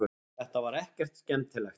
Þetta var ekkert skemmtilegt.